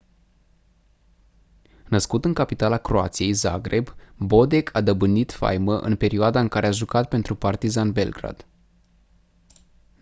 născut în capitala croației zagreb bodek a dobândit faimă în perioada în care a jucat pentru partizan belgrad